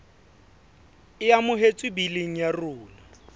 e amohetswe biling ya rona